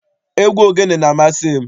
Egwu ogene na-amasị m.